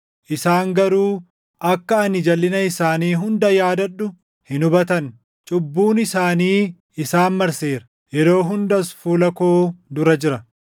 isaan garuu akka ani jalʼina isaanii hunda yaadadhu hin hubatan. Cubbuun isaanii isaan marseera; yeroo hundas fuula koo dura jira.